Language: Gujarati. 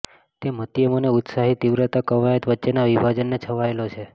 તે મધ્યમ અને ઉત્સાહી તીવ્રતા કવાયત વચ્ચેના વિભાજનને છવાયેલો છે